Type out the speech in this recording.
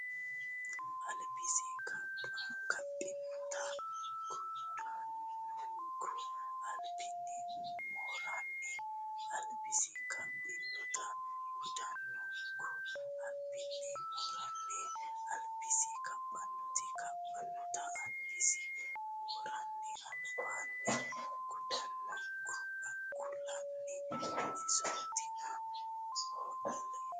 albisi Kaphinota gudannonku albaanni mooranni albisi Kaphinota gudannonku albaanni mooranni albisi Kaphinota Kaphinota albisi mooranni albaanni gudannonku kulanni isootina hooltootie !